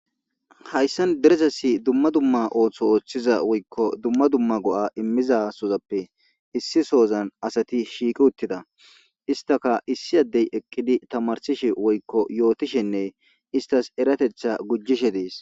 hayssan deresasi dumma dumma ooththo ooththiza woykko dumma dumma go7a immiza sozappe issi soozan asati shiiki uttida istaka issi addey eqqidi tamarsishe woykko yootishenne istas eratetha gujjishe dees